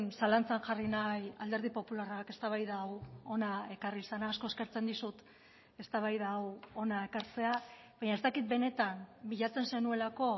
zalantzan jarri nahi alderdi popularrak eztabaida hau hona ekarri izana asko eskertzen dizut eztabaida hau hona ekartzea baina ez dakit benetan bilatzen zenuelako